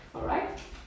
Alright